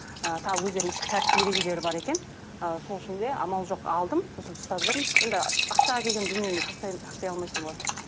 і тағы өздерінің ішкі тәртіп ережелері бар екен і сол үшін де амал жоқ алдым сосын ұстап жүрмін енді ақшаға келген дүниені тастай тастай алмайсың ғой